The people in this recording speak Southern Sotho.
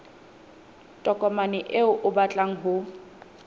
tokomane eo o batlang ho